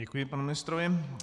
Děkuji panu ministrovi.